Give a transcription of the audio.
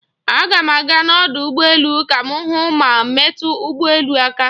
Aga m aga n'ọdụ ụgbọ elu ka m hụ ma metu ụgbọ elu aka.